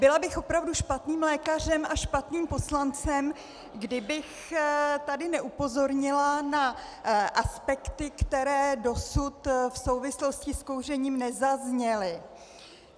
Byla bych opravdu špatným lékařem a špatným poslancem, kdybych tady neupozornila na aspekty, které dosud v souvislosti s kouřením nezazněly.